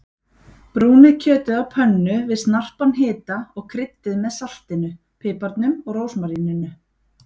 Brúnið kjötið á pönnu við snarpan hita og kryddið með saltinu, piparnum og rósmaríninu.